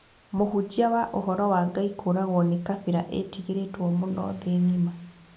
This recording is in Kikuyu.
mũhunjia wa uhoro wa Ngai kũragwo ni kabira ĩtigĩritwo mũno thi ng'ima